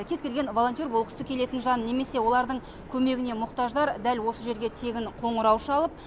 кез келген волонтер болғысы келетін жан немесе олардың көмегіне мұқтаждар дәл осы жерге тегін қоңырау шалып